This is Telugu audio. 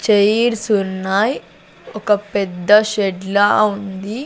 చైర్స్ ఉన్నాయ్ ఒక పెద్ద షెడ్ లా ఉంది.